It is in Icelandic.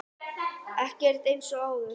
Ekkert er eins og áður.